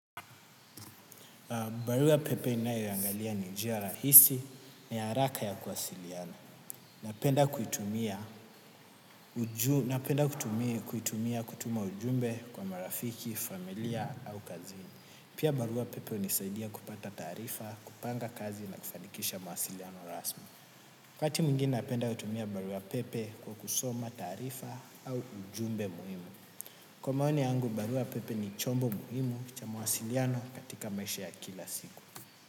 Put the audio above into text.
Barua pepe ninaiyoiangalia ni njia rahisi na ya haraka ya kuwasiliana. Napenda kuitumia kutuma ujumbe kwa marafiki, familia au kazini. Pia barua pepe hunisaidia kupata tarifa, kupanga kazi na kufanikisha mawasiliano rasmi. Wakati mwingine napenda kutumia barua pepe kwa kusoma taarifa au ujumbe muhimu. Kwa maoni yangu, barua pepe ni chombo muhimu cha mawasiliano katika maisha ya kila siku.